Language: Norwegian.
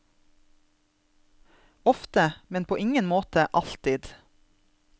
Ofte, men på ingen måte alltid.